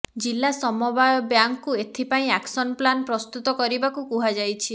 ଜିଲ୍ଲା ସମବାୟ ବ୍ୟାଙ୍କକୁ ଏଥିପାଇଁ ଆକ୍ସନ ପ୍ଲାନ ପ୍ରସ୍ତୁତ କରିବାକୁ କୁହାଯାଇଛି